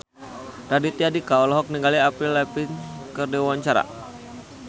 Raditya Dika olohok ningali Avril Lavigne keur diwawancara